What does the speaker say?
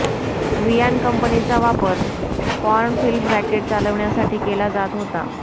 वियान कंपनीचा वापर porn film racket चालवण्यासाठी केला जात होता